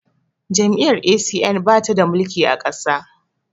Jam'iyyar A.C.N ba ta mulki ƙasa ba